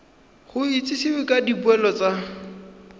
go itsisiwe ka dipoelo tsa